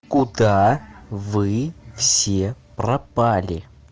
куда вы все пропали